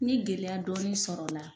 N ye gɛlɛya dɔɔnin sɔrɔ a la.